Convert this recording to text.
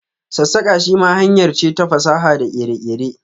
sassaka shi ma hanyar ce ta fasaha da kere-kere.